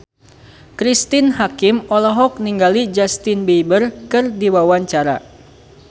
Cristine Hakim olohok ningali Justin Beiber keur diwawancara